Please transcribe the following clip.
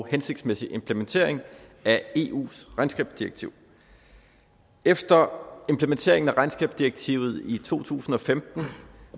og hensigtsmæssig implementering af eus regnskabsdirektiv efter implementeringen af regnskabsdirektivet i to tusind og femten